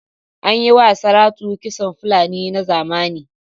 An yi ma Saratu kitson Fulani na zamani.